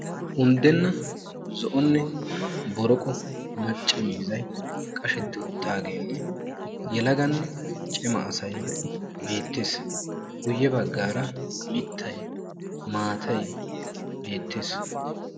Unddenna zo7onne boroqo macca miizzayi qashetti uttaageenne yelaganne cima asayi beettes. Guyye baggaara mittay, maatay beettes.